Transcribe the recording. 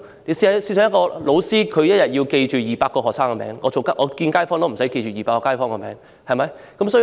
例如，一名教師要記住200個學生的名字，但我不用記住200個街坊的名字。